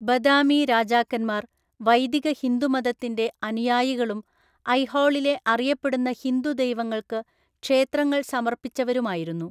ബദാമി രാജാക്കന്മാർ വൈദിക ഹിന്ദുമതത്തിന്റെ അനുയായികളും ഐഹോളിലെ അറിയപ്പെടുന്ന ഹിന്ദു ദൈവങ്ങൾക്ക് ക്ഷേത്രങ്ങൾ സമർപ്പിച്ചവരുമായിരുന്നു.